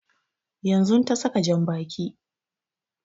Yanzun ta saka jan baƙi